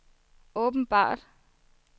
åbenbart